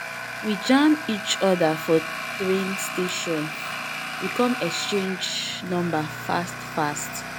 we jam each other for train station, we con exchange number fast fast